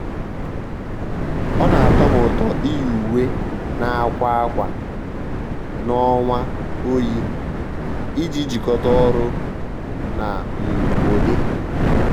ọ́ nà-àtọ́ m ụ́tọ́ iyi uwe nà-àkwa akwa n'ọnwa oyi iji jikọ́ta ọ́rụ́ na um ụ́dị́.